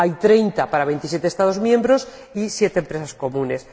Hay 30 para 27 Estados miembros y 7 Empresas comunes.